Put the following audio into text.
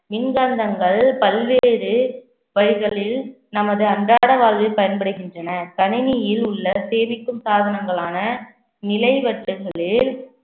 மின்காந்தங்கள் பல்வேறு வகைகளில் நமது அன்றாட வாழ்வில் பயன்படுகின்றன கணினியில் உள்ள சேமிக்கும் சாதனங்களான நிலை வட்டங்களில்